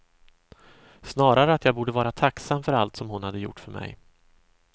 Snarare att jag borde vara tacksam för allt som hon hade gjort för mig.